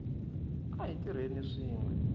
a hi tirheni swin we